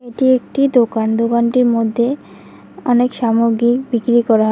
এটি একটি দোকান দোকানটির মধ্যে অনেক সামগ্রী বিক্রি করা হয়।